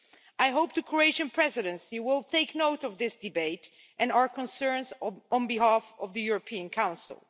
I hope the Croatian Presidency will take note of this debate and our concerns on behalf of the European Council.